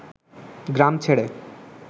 গ্রাম ছেড়ে